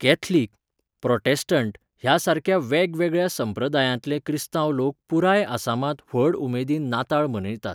Catholic, Protestant ह्या सारक्या वेगवेगळ्या संप्रदायांतले क्रिस्तांव लोक पुराय आसामांत व्हड उमेदीन नाताळ मनयतात.